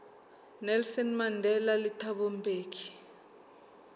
nelson mandela le thabo mbeki